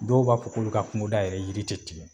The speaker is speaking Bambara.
Dɔw b'a fɔ k'olu ka kungoda yɛrɛ yiri tɛ tigɛ